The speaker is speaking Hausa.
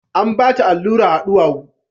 An bata allura a duwawu